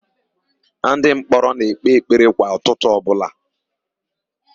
Ndịmkpọrọ na-ekpe ekpere kwa ụtụtụ ọbụla.